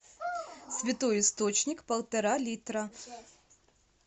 святой источник полтора литра